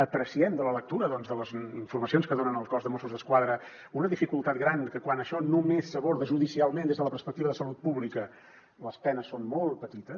apreciem de la lectura de les informacions que donen el cos de mossos d’esquadra una dificultat gran que quan això només s’aborda judicialment des de la perspectiva de salut pública les penes són molt petites